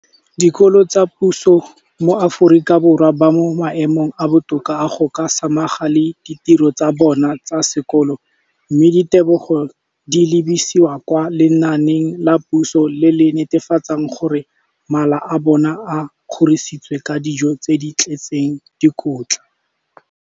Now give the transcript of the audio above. Dikolo tsa puso mo Aforika Borwa ba mo maemong a a botoka a go ka samagana le ditiro tsa bona tsa sekolo, mme ditebogo di lebisiwa kwa lenaaneng la puso le le netefatsang gore mala a bona a kgorisitswe ka dijo tse di tletseng dikotla.